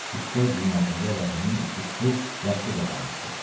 Üç-dörd ilin ərzində Rəhimin işi tutub yaxşı qazanmışdı.